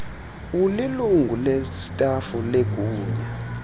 ulilungu lestafu legunya